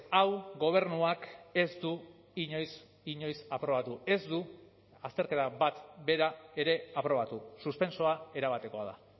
hau gobernuak ez du inoiz inoiz aprobatu ez du azterketa bat bera ere aprobatu suspentsoa erabatekoa da